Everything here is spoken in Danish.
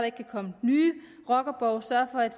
ikke kan komme nye rockerborge sørge for at